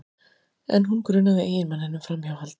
En hún grunaði eiginmanninn um framhjáhald